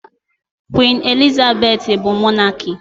Queen Elizabeth bu Mọnaki.